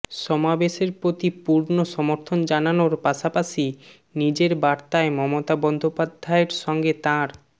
সমাবেশের প্রতি পূর্ণ সমর্থন জানানোর পাশাপাশি নিজের বার্তায় মমতা বন্দ্যোপাধ্যায়ের সঙ্গে তাঁর